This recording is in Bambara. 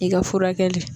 I ka furakɛli